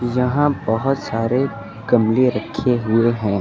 यहां बहोत सारे गमले रखे हुए हैं।